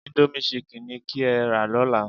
Íńdómì chicken ni kí ẹ́ rà lọ́la.